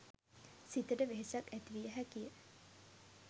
සිතට වෙහෙසක් ඇතිවිය හැකිය.